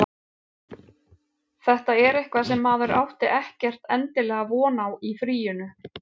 Þetta er eitthvað sem maður átti ekkert endilega von á í fríinu.